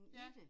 Ja